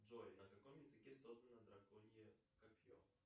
джой на каком языке создано драконье копье